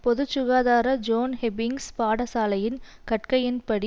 பொது சுகாதார John Hopkins பாடசலையின் கற்கையின்படி